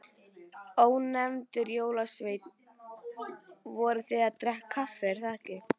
Ónefndur jólasveinn: Voruð þið að drekka kaffi, er það ekki?